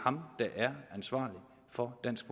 er ansvarlig for dansk